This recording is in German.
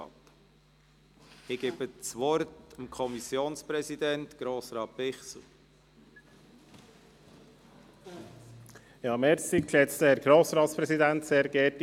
Ich gebe dem Kommissionspräsidenten der FiKo, Grossrat Bichsel, das Wort.